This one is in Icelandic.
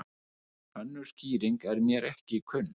Önnur skýring er mér ekki kunn.